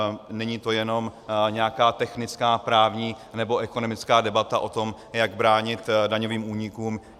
Není to jenom nějaká technická právní nebo ekonomická debata o tom, jak bránit daňovým únikům.